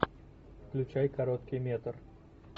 включай короткий метр